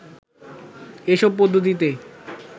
এসব পদ্ধতিতে